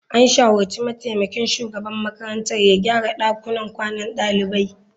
An shawarci mataimakin shugaban makarantar ya gyara dakunan kwanan dalibai.